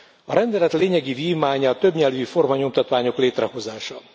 A rendelet lényegi vívmánya a többnyelvű formanyomtatványok létrehozása.